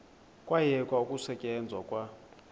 kwayekwa ukusetyenzwa kwa